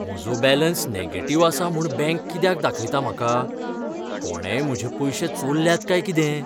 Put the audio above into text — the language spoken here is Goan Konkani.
म्हजो बॅलेंस नॅगेटिव्ह आसा म्हूण बँक कित्याक दाखयता म्हाका? कोणेंय म्हजें पयशें चोरल्यात काय कितें?